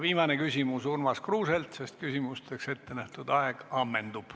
Viimane küsimus Urmas Kruuselt, sest küsimusteks ette nähtud aeg ammendub.